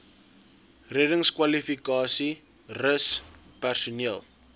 reddingskwalifikasies rus personeel